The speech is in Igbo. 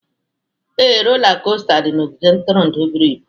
Ee, rola kosta dị na ogige ntụrụndụ buru ibu